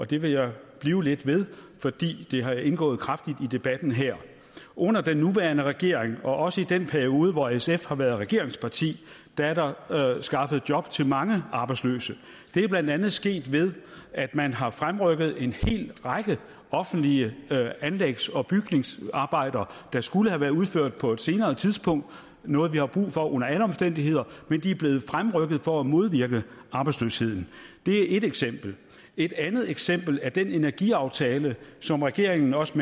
det vil jeg blive lidt ved fordi det har indgået kraftigt i debatten her under den nuværende regering og også i den periode hvor sf har været regeringsparti er er der skaffet job til mange arbejdsløse det er blandt andet sket ved at man har fremrykket en hel række offentlige anlægs og bygningsarbejder der skulle have været udført på et senere tidspunkt noget vi har brug for under alle omstændigheder men de er blevet fremrykket for at modvirke arbejdsløsheden det er ét eksempel et andet eksempel er den energiaftale som regeringen også